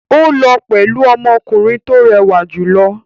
Ó lọ pẹ̀lú ọmọkùnrin tó rẹwà jù lọ.